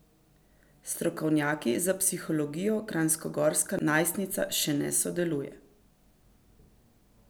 S strokovnjaki za psihologijo kranjskogorska najstnica še ne sodeluje.